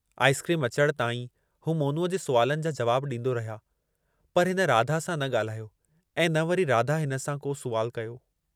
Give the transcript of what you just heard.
Ice cream अचण ताईं हू मोनूअ जे सुवालनि जा जवाब ॾींदो रहिया, पर हिन राधा सां न ॻाल्हायो ऐं न वरी राधा हिन सां को सुवालु कयो।